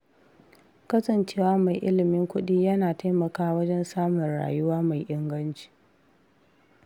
Kasancewa mai ilimin kuɗi yana taimakawa wajen samun rayuwa mai inganci.